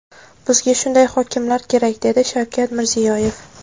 Bizga shunday hokimlar kerak”, dedi Shavkat Mirziyoyev.